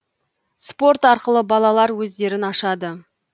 спорт арқылы балалар өздерін ашады